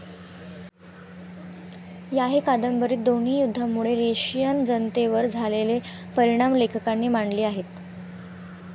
याही कादंबरीत दोन्ही युद्धांमुळे रशियन जनतेवर झालेले परिणाम लेखकांनी मांडले आहेत.